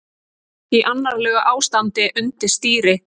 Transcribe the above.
Í annarlegu ástandi undir stýri